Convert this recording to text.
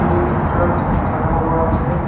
एक ट्रक खड़ा हुआ है।